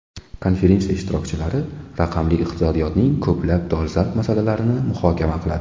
Konferensiya ishtirokchilari raqamli iqtisodiyotning ko‘plab dolzarb masalalarini muhokama qiladi.